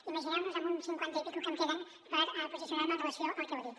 imagineu·vos amb u cinquanta i escaig que em queda per posicionar·me en relació amb el que heu dit